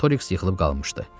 Artoriks yıxılıb qalmışdı.